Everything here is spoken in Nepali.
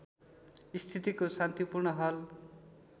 स्थितिको शान्तिपूर्ण हल